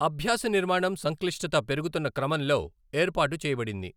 అభ్యాస నిర్మాణం సంక్లిష్టత పెరుగుతున్న క్రమంలో ఏర్పాటు చేయబడింది.